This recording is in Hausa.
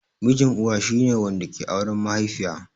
Mijin Uwa shi ne wanda ke auren mahaifiya.